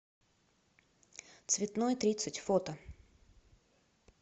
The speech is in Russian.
цветной тридцать фото